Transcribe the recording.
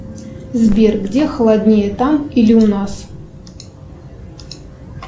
сбер где холоднее там или у нас